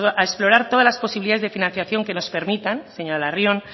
a explorar todas las posibilidades de financiación que nos permita señora larrion